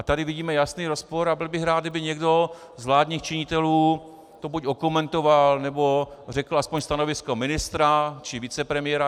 A tady vidíme jasný rozpor a byl bych rád, kdyby někdo z vládních činitelů to buď okomentoval, nebo řekl aspoň stanovisko ministra či vicepremiéra.